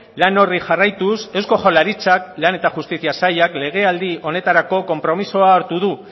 lan hori jarraituz eusko jaurlaritzak lan eta justizia sailak legealdi honetarako konpromisoa hartu du